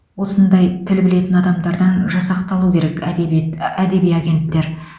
осындай тіл білетін адамдардан жасақталу керек әдебиет әдеби агенттер